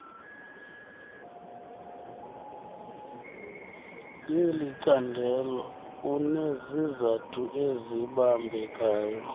yelicandelo unezizathu ezibambekayo